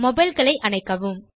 mobile களை அணைக்கவும்